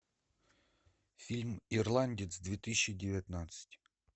фильм ирландец две тысячи девятнадцать